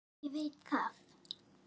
Já, ég veit það!